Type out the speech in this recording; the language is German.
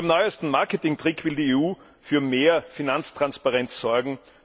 Mit dem neuesten Marketingtrick will die EU für mehr Finanztransparenz sorgen.